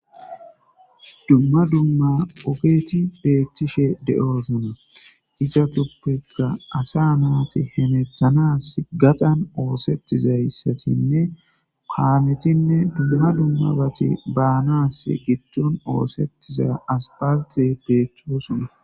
Dumma dumma ogethi beeththishe de7oosona;izathuppekka asaa naathi hemeththanaassi gaxan ooseththizayssathinne kaamethinne dumma dummabathi baanaassi giddon ooseththiza asppalththee beeththoosona.